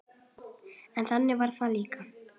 En þannig var það líka.